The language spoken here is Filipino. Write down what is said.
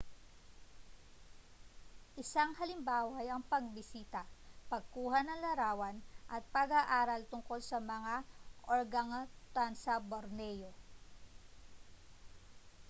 isang halimbawa ay ang pagbisita pagkuha ng larawan at pag-aaral tungkol sa mga organgatuangs sa borneo